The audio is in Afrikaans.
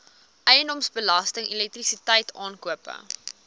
eiendomsbelasting elektrisiteit aankope